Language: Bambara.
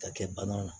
Ka kɛ bana ma